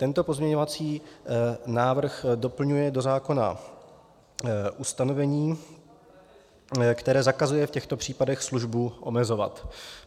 Tento pozměňovací návrh doplňuje do zákona ustanovení, které zakazuje v těchto případech službu omezovat.